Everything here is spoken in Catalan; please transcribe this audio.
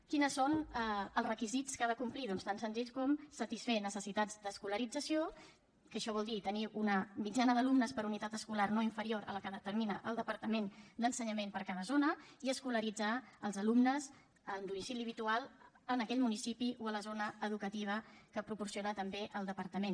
quins són els requisits que ha de complir doncs tan senzills com satisfer necessitats d’escolarització que això vol dir tenir una mitjana d’alumnes per unitat escolar no inferior a la que determina el departament d’ensenyament per a cada zona i escolaritzar els alumnes amb domicili habitual en aquell municipi o a la zona educativa que proporciona també el departament